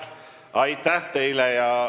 Aitäh teile!